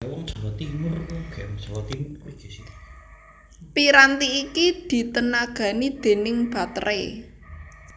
Piranti iki ditenagani déning bateré